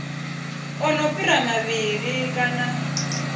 a no fhira mavhili kana